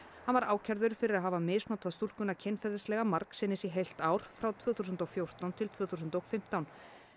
hann var ákærður fyrir að hafa misnotað stúlkuna kynferðislega margsinnis í heilt ár frá tvö þúsund og fjórtán til tvö þúsund og fimmtán